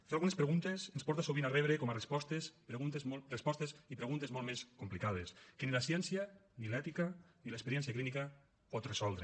fer algunes preguntes ens porta sovint a rebre com a respostes respostes i preguntes molt més complicades que ni la ciència ni l’ètica ni l’experiència clínica poden resoldre